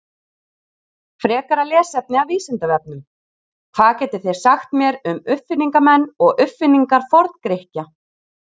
Frekara lesefni af Vísindavefnum: Hvað getið þið sagt mér um uppfinningamenn og uppfinningar Forngrikkja?